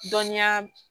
Dɔniya